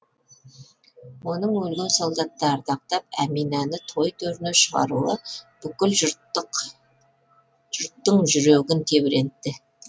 оның өлген солдатты ардақтап әминаны той төріне шығаруы бүкіл жұрттық жүрегін тебірентті